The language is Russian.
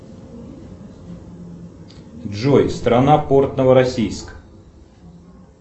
джой страна порт новороссийск